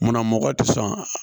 Munna mɔgɔ tɛ sɔn